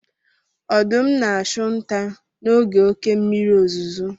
Ọdụm na-achụ nta n'oge oké mmiri ozuzo.